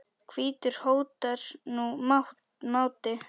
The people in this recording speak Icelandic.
hvítur hótar nú máti.